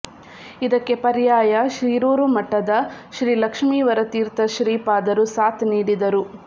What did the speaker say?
ಇದಕ್ಕೆ ಪರ್ಯಾಯ ಶೀರೂರು ಮಠದ ಶ್ರೀಲಕ್ಷ್ಮಿವರ ತೀರ್ಥ ಶ್ರೀಪಾದರು ಸಾಥ್ ನೀಡಿದರು